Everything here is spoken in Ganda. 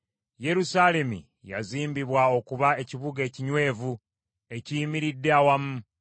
Yerusaalemi yazimbibwa okuba ekibuga ekinywevu ekiyimiridde awamu.